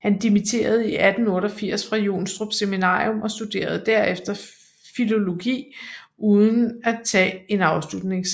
Han dimitterede i 1888 fra Jonstrup Seminarium og studerede derefter filologi uden at tage en afsluttende eksamen